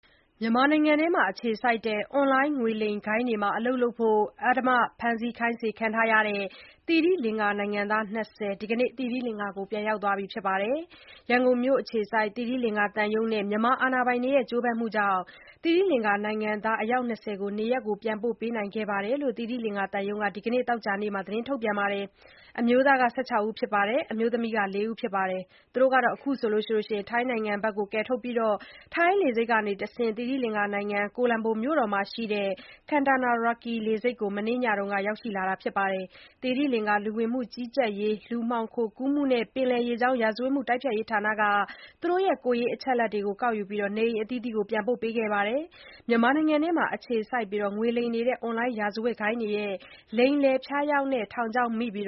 မြန်မာနိုင်ငံထဲမှာ အခြေစိုက်တဲ့ အွန်လိုင်းငွေလိမ်ဂိုဏ်းတွေမှာ အလုပ်လုပ်ဖို့ အဓမ္မ ဖမ်းဆီး ခိုင်းစေခံနေရတဲ့ သီရိလင်္ကာနိုင်ငံသား ၂၀ ဒီနေ့ သိရိလင်္ကာကို ပြန်ရောက်သွားကြပါပြီ။ ရန်ကုန်မြို့က သီရိလင်္ကာသံရုံးနဲ့ မြန်မာတာဝန်ရှိသူတွေရဲ့ ကြိုးပမ်းမှုနဲ့ နိုင်ငံသား အယောက် ၂၀ ကို နေရပ်ပြန်ပို့နိုင်ခဲ့တယ်လို့ သီရိလင်္ကာသံရုံးက ဒီနေ့ သောကြာနေ့မှာ ထုတ်ပြန်ထားပါတယ်။ အမျိုးသား ၁၆ ဦးနဲ့ အမျိုးသမီး ၄ ဦးတို့ ပြန်ရောက်လာကြတယ်လို့ သီရိလင်္ကာသတင်းတွေမှာ ဖော်ပြပါတယ်။ သူတို့ကို ထိုင်းနိုင်ငံဘက်ကယ်ထုတ်ပြီး ထိုင်းလေဆိပ်ကတဆင့် သိရိလင်္ကာနိုင်ငံ ကိုလံဘိုမြို့တော်မှာရှိတဲ့ Katunayake လေဆိပ်ကို မနေ့ညက ရောက်ရှိလာကြတယ်လို့ သတင်းတွေမှာ ဖော်ပြပါတယ်။ သီရိလင်္ကာ လူဝင်မှုကြီးကြပ်ရေး၊ လူမှောင်ခိုကူးမှုနဲ့ ပင်လယ်ရေကြောင်း ရာဇဝတ်မှုတိုက်ဖျက်ရေးဌာက သူတို့ရဲ့ ကိုယ်ရေးအချက်အလက်တွေ ကောက်ယူပြီးတဲ့နောက် နေအိမ်အသီးသီးကို ပြန်ပို့ပေးခဲ့တာဖြစ်ပါတယ်။ မြန်မာနိုင်ငံထဲမှာ အခြေစိုက်ငွေလိမ်နေတဲ့ အွန်လိုင်းရာဇဝတ်ဂိုဏ်းတွေရဲ့ လိမ်လည်ဖျားယောင်တဲ့ ထောင်ချောက်မိပြီး